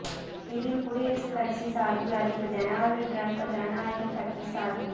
இதில் குடியரசுக் கட்சி சார்பில் அதிபர் டொனால்டு டிரம்ப் ஜனநாயகக் கட்சி சார்பில்